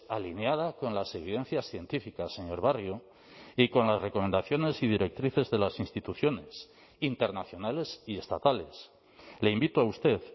alineada con las evidencias científicas señor barrio y con las recomendaciones y directrices de las instituciones internacionales y estatales le invito a usted